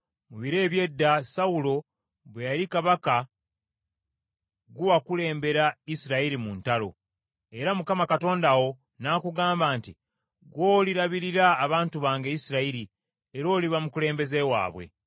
Mu biro eby’edda, Sawulo bwe yali kabaka ggwe wakulembera Isirayiri mu ntalo. Era Mukama Katonda wo n’akugamba nti, ‘Ggwe olirabirira abantu bange Isirayiri, era oliba mukulembeze waabwe.’ ”